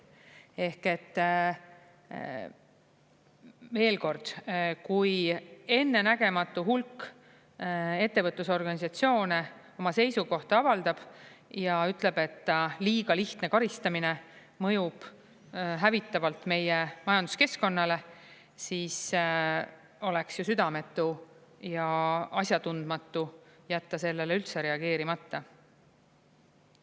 Ehk et veel kord, kui ennenägematu hulk ettevõtlusorganisatsioone oma seisukohta avaldab ja ütleb, et ta liiga lihtne karistamine mõjub hävitavalt meie majanduskeskkonnale, siis oleks ju südametu ja asjatundmatu jätta sellele üldse reageerimata.